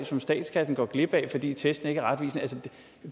som statskassen går glip af fordi testene ikke er retvisende altså